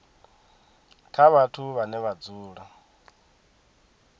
kha vhathu vhane vha dzula